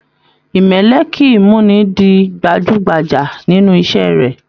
Imẹlẹ kìí muni dì gbajúgbajà nínú iṣẹ rẹ.